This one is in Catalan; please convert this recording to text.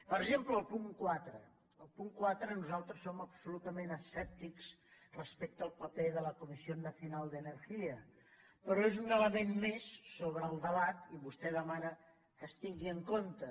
per exemple el punt quatre el punt quatre nosaltres som absolutament escèptics respecte al paper de la comisión nacional de energia però és un element més sobre el debat i vostè demana que es tingui en compte